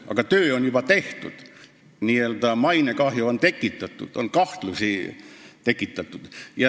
Aga töö on juba tehtud, tekitatud n-ö mainekahju ja kahtlusi.